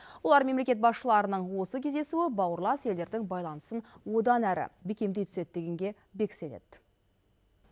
олар мемлекет басшыларының осы кездесуі бауырлас елдердің байланысын одан әрі бекемдей түседі дегенге бек сенеді